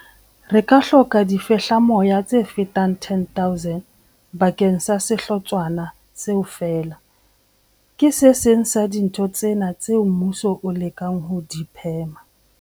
Re ka hloka difehlamoya tse fetang 10 000 bakeng sa sehlotshwana seo feela. Ke se seng sa dintho tsena tseo mmuso o lekang ho di phema.